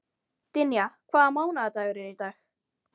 Dynja, hvaða mánaðardagur er í dag?